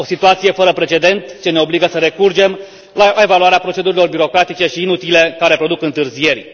O situație fără precedent, ce ne obligă să recurgem la evaluarea procedurilor birocratice și inutile, care produc întârzieri.